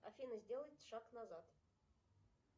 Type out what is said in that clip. афина сделай шаг назад